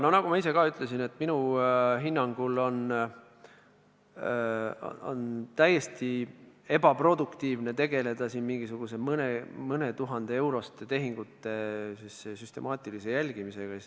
Jaa, nagu ma ka ise ütlesin, on minu hinnangul täiesti ebaproduktiivne tegeleda siin mingisuguste mõne tuhande euroste tehingute süstemaatilise jälgimisega.